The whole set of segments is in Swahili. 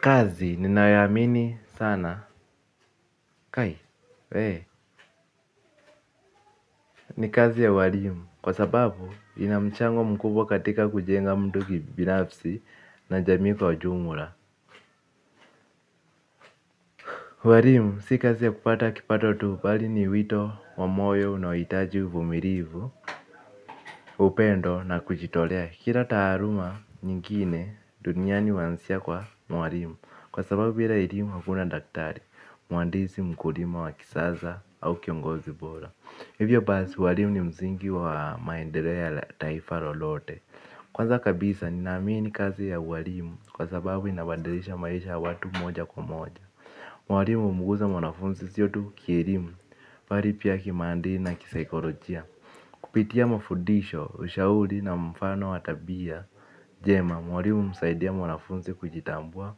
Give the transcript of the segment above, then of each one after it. Kazi, ninayoamini sana, kai, we, ni kazi ya walimu, kwa sababu, inamchango mkubwa katika kujenga mtu kibinafsi na jamii kwa jumla. Walimu, si kazi ya kupata kipato tu pali ni wito, wa moyo, unaohitaji, vumilivu, upendo na kuchitolea. Kira taaruma nyingine, duniani wansia kwa walimu, kwa sababu bila elimu hakuna daktari, muhandisi mkulima wa kisasa au kiongozi bora. Hivyo basi walimu ni mzingi wa maendereo ya taifa lolote. Kwanza kabisa ninaamini kazi ya walimu kwa sababu inabandirisha maisha watu moja kwa moja. Walimu mguza mwanafunzi siyo tu kielimu pali pia kimandli na kisaikolojia kupitia mafudisho, ushauri na mfano wa tabia jema, walimu umsaidia mwanafunzi kujitambua,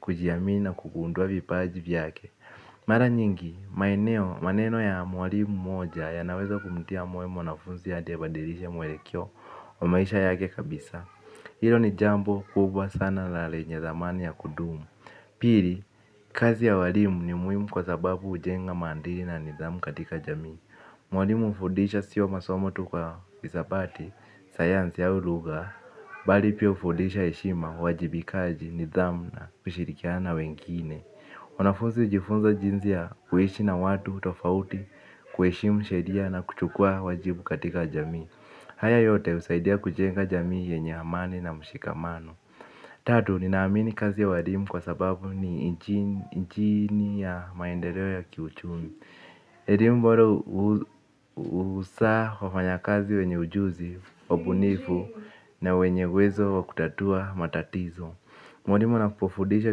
kujiamini na kugundua vipaji vyake. Mara nyingi, maeneo, maneno ya mwalimu moja yanaweza kumtia moyo mwanafuzi hadi badirisha mwelekeo wa maisha yake kabisa. Hilo ni jambo kubwa sana la lenye dhamani ya kudumu. Pili, kazi ya walimu ni muhimu kwa sababu ujenga mandili na nidhamu katika jamii. Mwalimu ufundisha sio masomo tu kwa hisabati, sayansi au luga, bali pia ufundisha heshima uajibikaji nidhamu na kushirikiana na wengine. Wanafunzi ujifunza jinzi ya kuishi na watu tofauti kuheshimu sheria na kuchukua wajibu katika jamii. Haya yote usaidia kujenga jamii yenye amani na mshikamano. Tatu, ninaamini kazi ya walimu kwa sababu ni nchini ya maendereo ya kiuchumi. Elimu boro usaa wafanya kazi wenye ujuzi, ubunifu na wenye uwezo wa kutatua matatizo. Mwalimu anapofudisha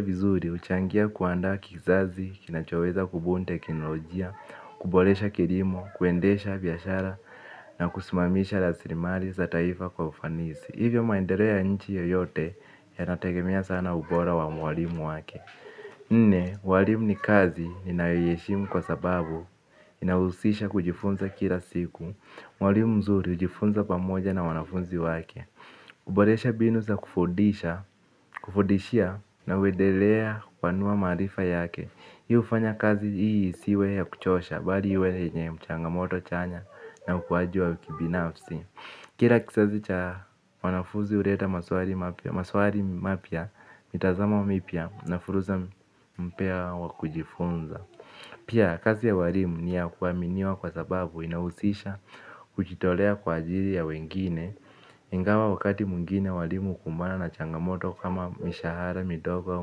vizuri uchangia kuandaa kizazi, kinachoweza kubuni teknolojia, kuboresha kilimo, kuendesha biyashara na kusimamisha rasilimali za taifa kwa ufanisi. Hivyo maendereo ya nchi yoyote yanategemea sana ubora wa mwalimu wake. Nne, mwalimu ni kazi ninayoiheshimu kwa sababu inahusisha kujifunza kila siku, mwalimu mzuri ujifunza pamoja na wanafunzi wake. Kuboresha mbinu za kufudisha na uedelea kupanua marifa yake hii ufanya kazi hii isiwe ya kuchosha. Bali hiwe yenye mchangamoto chanya na ukuwaji wa kibinafsi. Kila kizazi cha wanafunzi uleta maswari mapya. Mitazamo wa mipya na fursa mpya wa kujifunza pia kazi ya walimu niya kuwaminiwa kwa sababu inahusisha. Kujitolea kwa ajili ya wengine. Ingawa wakati mwingine walimu ukumbana na changamoto kama mishahara, midogo wa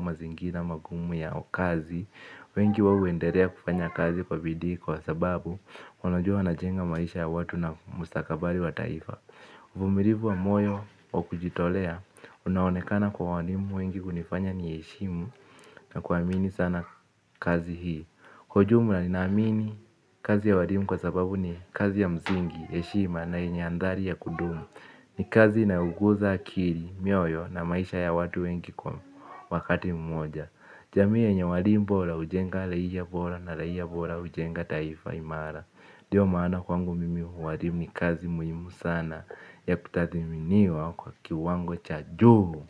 mazingira magumu ya ukazi wengi wawo enderea kufanya kazi kwa bidii kwa sababu wanajua wanajenga maisha ya watu na mustakabali wa taifa. Vumirivu wa moyo wa kujitolea unaonekana kwa walimu wengi hunifanya niheshimu na kuamini sana kazi hii. Kwa ujumla ninaamini kazi ya walimu kwa sababu ni kazi ya mzingi heshima na yenye andhali ya kudumu. Ni kazi inaoguza akili, mioyo na maisha ya watu wengi kwa wakati mmoja. Jamii yenye walimu bora ujenga raia bora na raia bora ujenga taifa imara. Dio maana kwangu mimi walimu ni kazi muhimu sana ya kutathiminiwa kwa kiwango cha juu.